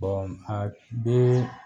bɔn a bee